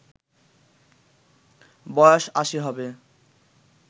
বয়স আশি হবে